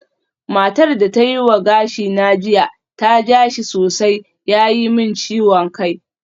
Matar da ta yi wa gashina jiya ta ja shi sosai ya yi min ciwon kai